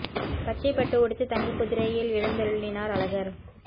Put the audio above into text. பச்சை பட்டு உடுத்தி தங்க குதிரையில் எழுந்தருளினார் அழகர்